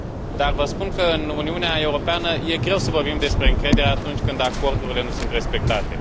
Dar vă spun că, în Uniunea Europeană, e greu să vorbim despre încredere, atunci când acordurile nu sunt respectate.